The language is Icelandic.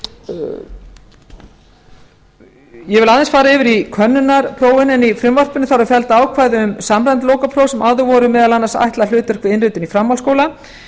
samstarfi evrópuríkja ég vil aðeins fara yfir könnunarþróunina í frumvarpinu þar eru felld ákvæði um samræmd lokapróf sem áður voru meðal annars ætlað hlutverk við innritun í framhaldsskóla